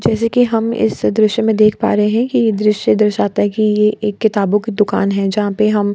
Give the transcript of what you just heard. जैसे कि हम इस दृश्य में देख पा रहे हैं कि ये दृश्य दर्शाता है कि ये एक किताबों की दुकान है जहाँ पे हम --